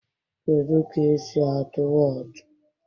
Kedụ ka-esi atụ Wọọtụ?